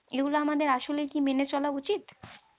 এগুলো আমাদের আসলে কি মেনে চলা উচিত